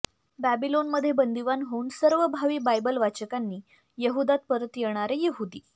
बॅबिलोनमध्ये बंदिवान होऊन सर्व भावी बायबल वाचकांनी यहुदात परत येणारे यहुदी